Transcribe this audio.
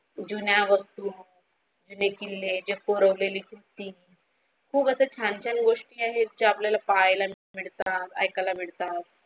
जुन्या वस्तू जुने किल्ले जे कोरवलेली भिंती खुप असं छान छान गोष्टी आहेत जे आपल्याला पाहायला मिळतात ऐकायला मिळतात.